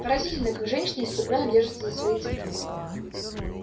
поразительно как женщины исступлённо держатся за свои цепи